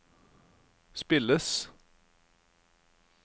spilles